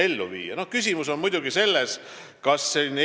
Mina arvan, et igal juhul tuleks püüda seda rakendada.